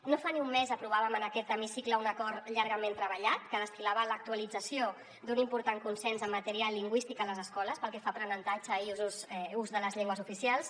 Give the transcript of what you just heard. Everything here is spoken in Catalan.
no fa ni un mes aprovàvem en aquest hemicicle un acord llargament treballat que destil·lava l’actualització d’un important consens en matèria lingüística a les escoles pel que fa a aprenentatge i ús de les llengües oficials